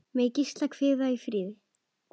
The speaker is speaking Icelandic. Megi Gísli hvíla í friði.